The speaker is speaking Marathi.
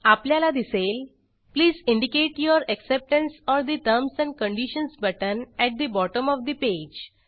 आपल्याला दिसेल please indicate your acceptance of the terms and conditions button at the bottom of the page